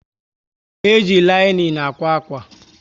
E jị linin ákwà akwa